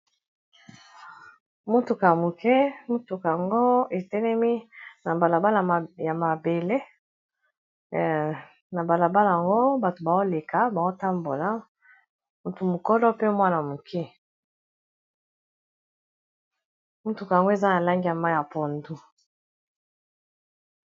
motuka ya moke mutuka yango etelemi na balabal ya mabele na balabala yango bato baoleka baotambola motumokolo pe mwana moke motuka yango eza na langeya ma ya pondo